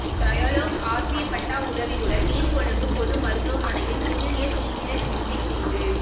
Dialog Axiata உதவியுடன் நீர்கொழும்பு பொது மருத்துவமனையில் புதிய தீவிர சிகிச்சைப் பிரிவு